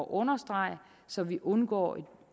understrege så vi undgår et